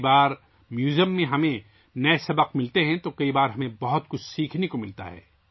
کبھی ہمیں میوزیم میں نئے اسباق ملتے ہیں اور کبھی ہمیں بہت کچھ سیکھنے کو ملتا ہے